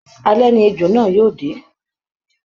Alẹ ni ejò náà yóò dé